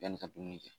Yanni ka dumuni kɛ